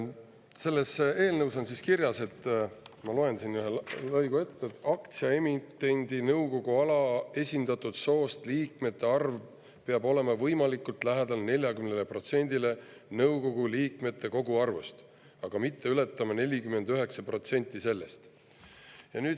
Selles eelnõus on kirjas, ma loen siit ühe lõigu ette: "Aktsiaemitendi nõukogu alaesindatud soost liikmete arv peab olema võimalikult lähedal 40 protsendile nõukogu liikmete koguarvust, aga mitte ületama 49 protsenti sellest.